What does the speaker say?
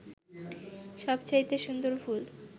সবচাইতে সুন্দর ফুল